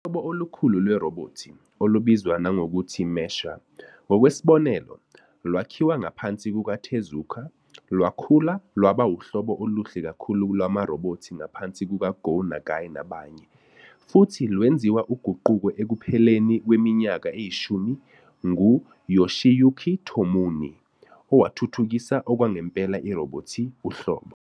Uhlobo olukhulu lwerobhothi, olubizwa nangokuthi " mecha ", ngokwesibonelo, lwakhiwa ngaphansi kukaTezuka, lwakhula lwaba uhlobo oluhle kakhulu lwamarobhothi ngaphansi kukaGo Nagai nabanye, futhi lwenziwa uguquko ekupheleni kweminyaka eyishumi nguYoshiyuki Tomino, owathuthukisa okwangempela irobhothi uhlobo.